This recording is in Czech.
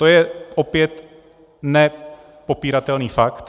To je opět nepopiratelný fakt.